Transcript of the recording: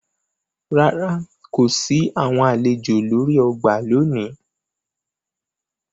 Ràrá, ko si awọn alejò lori ọgbà lóni